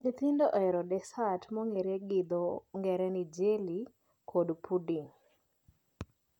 Nyithindo ohero desat mong'ere gi dho ng'ere ni jelly kod puding